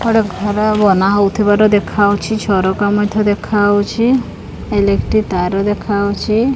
ଗୋଟେ ଘର ବାନା ହଉଥିବାର ଦେଖାଯାଉଛି। ଝରକା ମଧ୍ୟ ଦେଖାଯାଉଛି। ଇଲେକ୍ଟରୀ ତାର ଦେଖାଯାଉଛି।